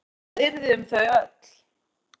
Hvað yrði um þau öll?